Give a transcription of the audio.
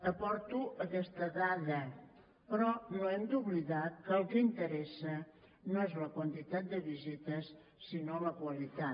aporto aquesta dada però no hem d’oblidar que el que interessa no és la quantitat de visites sinó la qualitat